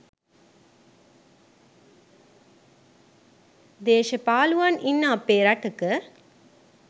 දේශපාලුවන් ඉන්න අපේ රටක